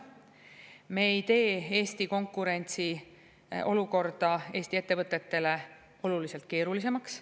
Me ei tee Eesti konkurentsiolukorda Eesti ettevõtetele oluliselt keerulisemaks.